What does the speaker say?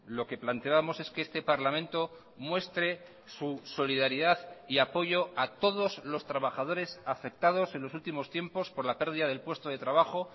lo que planteábamos es que este parlamento muestre su solidaridad y apoyo a todos los trabajadores afectados en los últimos tiempos por la pérdida del puesto de trabajo